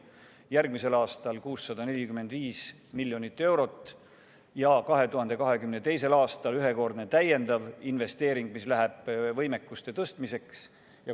Järgmisel aastal eraldatakse 645 miljonit eurot ja 2022. aastal ühekordne täiendav investeering, mis läheb võimekuste tõstmiseks.